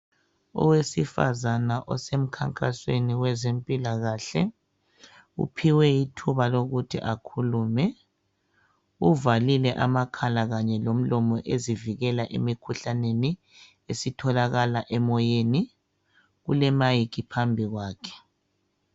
Owesifazana osemkhankasweni wezemphilakahle, uphiwe ithuba lokuthi akhulume. Uzivale amakhala kanye lomlomo ukuzivikela emikhuhlaneni esitholakala emoyeni. Kulemayikhi phambi kwakhe.